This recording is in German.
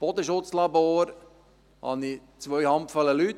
Im Bodenschutzlabor habe ich zwei Handvoll Leute.